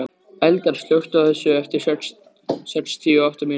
Eldar, slökktu á þessu eftir sextíu og átta mínútur.